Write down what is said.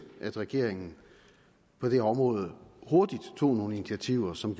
at regeringen på det område hurtigt tog nogle initiativer som